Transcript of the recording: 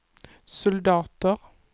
soldater